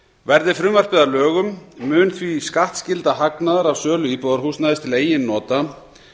verði frumvarpið að lögum mun því skattskylda hagnaðar af sölu íbúðarhúsnæðis til eigin nota